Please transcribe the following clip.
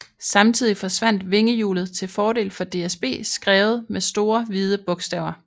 Samtidig forsvandt vingehjulet til fordel for DSB skrevet med store hvide bogstaver